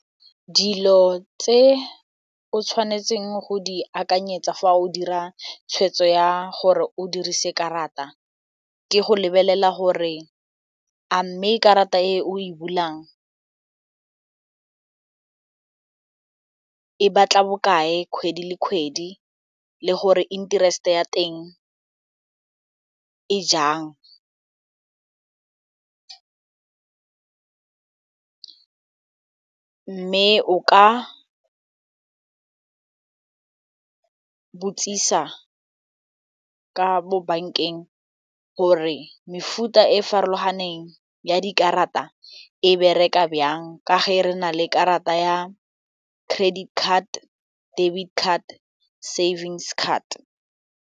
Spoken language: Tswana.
Dilo tse o tshwanetseng go di akanyetsa fa o dira tshwetso ya gore o dirise karata ke go lebelela gore a mme karata e o e bulang e batla bokae kgwedi le kgwedi le gore interest-e ya teng e jang mme o ka botsisa ka mo bank-eng gore mefuta e farologaneng ya dikarata e bereka jang ka ge re na le karata ya credit card, debit card, savings card.